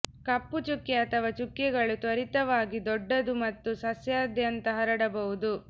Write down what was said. ಕಪ್ಪು ಚುಕ್ಕೆ ಅಥವಾ ಚುಕ್ಕೆಗಳು ತ್ವರಿತವಾಗಿ ದೊಡ್ಡದು ಮತ್ತು ಸಸ್ಯದಾದ್ಯಂತ ಹರಡಬಹುದು